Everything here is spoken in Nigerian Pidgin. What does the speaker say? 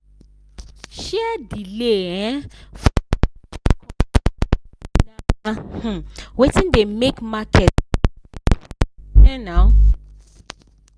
share delay um for the public offering na um wetin dey make market no stable um now.